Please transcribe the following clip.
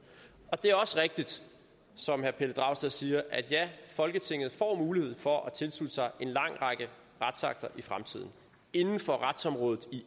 er også rigtigt som herre pelle dragsted siger at folketinget får mulighed for at tilslutte sig en lang række retsakter i fremtiden inden for retsområdet